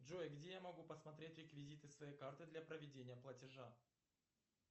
джой где я могу посмотреть реквизиты своей карты для проведения платежа